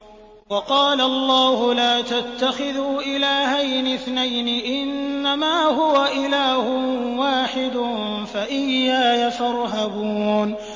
۞ وَقَالَ اللَّهُ لَا تَتَّخِذُوا إِلَٰهَيْنِ اثْنَيْنِ ۖ إِنَّمَا هُوَ إِلَٰهٌ وَاحِدٌ ۖ فَإِيَّايَ فَارْهَبُونِ